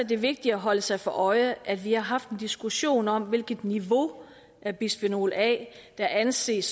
det vigtigt at holde sig for øje at vi har haft en diskussion om hvilket niveau af bisfenol a der anses